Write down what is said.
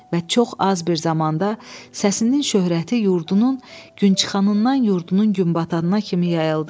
Və çox az bir zamanda səsinin şöhrəti yurdunun günçıxanından yurdunun günbatanına kimi yayıldı.